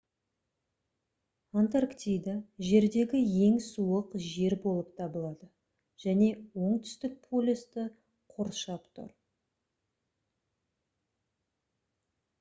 антарктида жердегі ең суық жер болып табылады және оңтүстік полюсті қоршап тұр